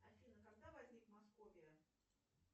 афина когда возник московия